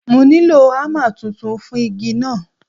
Mo nílò ámà tuntun fún igi náà.